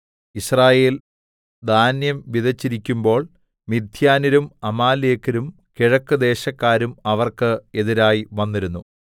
യിസ്രായേൽ ധാന്യം വിതെച്ചിരിക്കുമ്പോൾ മിദ്യാന്യരും അമാലേക്യരും കിഴക്കുദേശക്കാരും അവർക്ക് എതിരായി വന്നിരുന്നു